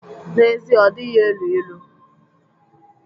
N'ezie, ọ dịghị elu ilu.